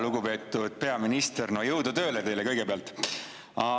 Lugupeetud peaminister, jõudu tööle teile kõigepealt!